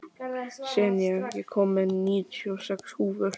Senía, ég kom með níutíu og sex húfur!